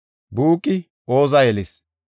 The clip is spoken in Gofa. Buuqi Oza yelis;